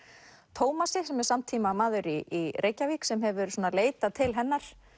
Tómasi sem er samtímamaður í Reykjavík sem hefur leitað til hennar